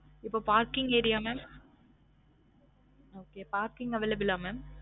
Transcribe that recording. இப்ப parking area mam okay parking available லா mam